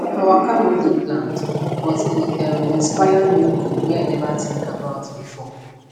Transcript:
her waka no dey planned but e um inspire new goal wey i never think about before